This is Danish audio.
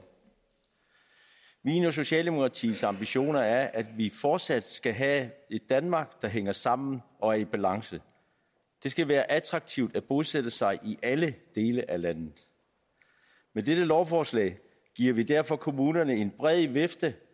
mine og socialdemokratiets ambitioner er at vi fortsat skal have et danmark der hænger sammen og er i balance det skal være attraktivt at bosætte sig i alle dele af landet med dette lovforslag giver vi derfor kommunerne en bred vifte